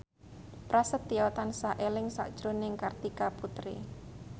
Prasetyo tansah eling sakjroning Kartika Putri